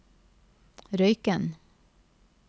Røyken